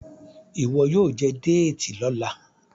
ìwo yíò jé Déètì lọla.